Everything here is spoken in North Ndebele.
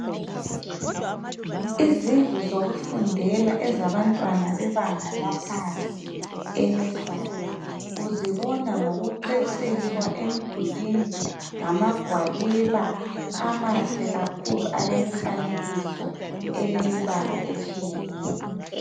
Izindlu zokufundela ezabantwana bebanga laphansi enusery uzibona ngokuceciswa emdulwini ngamagwaliba amahle kakhulu alemifanekiso elemibala etshiyeneyo.